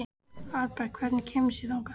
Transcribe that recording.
Arnberg, hvernig kemst ég þangað?